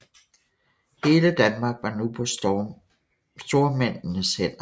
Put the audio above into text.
Hele Danmark var nu på stormændenes hænder